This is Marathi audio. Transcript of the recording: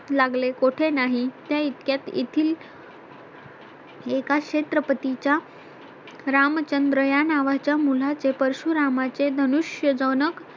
लागले कुठे नाही त्या इतक्यात येथील एका क्षेत्रपतीच्या रामचंद्र या नावाच्या मुलाचे परशुरामाचे धनुष्य जनक